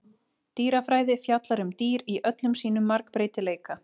Dýrafræði fjallar um dýr í öllum sínum margbreytileika.